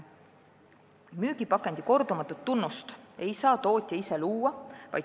Müügipakendi kordumatut tunnust ei saa tootja ise luua.